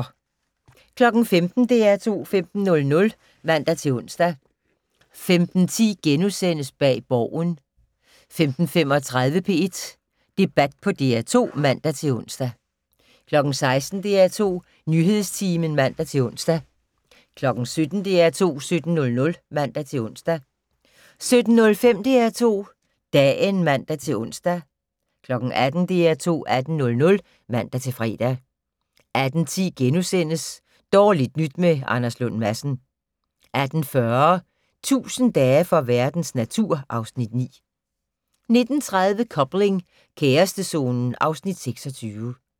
15:00: DR2 15:00 (man-ons) 15:10: Bag Borgen * 15:35: P1 Debat på DR2 (man-ons) 16:00: DR2 Nyhedstimen (man-ons) 17:00: DR2 17:00 (man-ons) 17:05: DR2 Dagen (man-ons) 18:00: DR2 18:00 (man-fre) 18:10: Dårligt nyt med Anders Lund Madsen * 18:40: 1000 dage for verdens natur (Afs. 9) 19:30: Coupling - kærestezonen (Afs. 26)